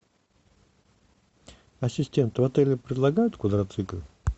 ассистент в отеле предлагают квадроциклы